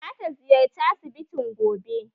Za ta ziyarci asibitin gobe